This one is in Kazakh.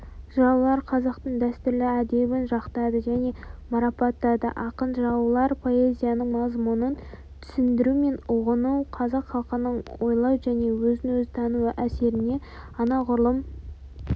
жыраулар қазақтың дәстүрлі әдебін жақтады және марапаттады ақын-жыраулар поэзиясының мазмұнын түсіндіру мен ұғыну қазақ халқының ойлау және өзін-өзі тану өрісіне анағұрлым